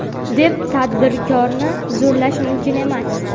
deb tadbirkorni zo‘rlash mumkin emas.